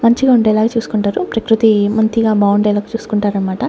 మంచిగా ఉండేలాగా చూస్కుంటారు ప్రకృతి మంచిగా బాగుండేలాగా చూస్కుంటారన్మాట.